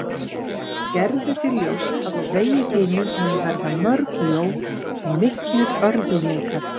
Gerðu þér ljóst að á vegi þínum munu verða mörg ljón og miklir örðugleikar.